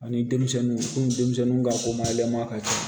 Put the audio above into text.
Ani denmisɛnninw denmisɛnninw ka komayɛlɛma ka kɛ